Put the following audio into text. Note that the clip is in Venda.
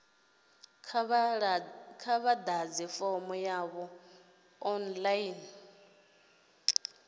kha vha ḓadze fomo yavho online